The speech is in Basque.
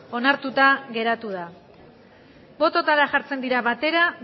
onartuta geratu da botoetara jartzen dira batera